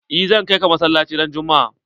Eh zan ka ka masallaci ran juma'a.